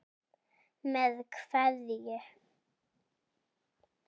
Með kveðju.